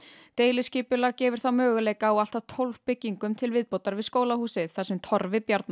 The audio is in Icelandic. deiliskipulag gefur þá möguleika á allt að tólf byggingum til viðbótar við skólahúsið þar sem Torfi Bjarnason